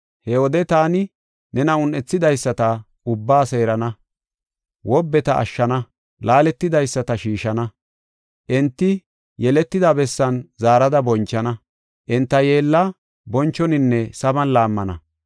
He wode taani nena un7ethidaysata ubbaa seerana; wobbeta ashshana; laaletidaysata shiishana. Enti yeellatida bessan zaarada bonchana; enta yeella bonchoninne saban laammana.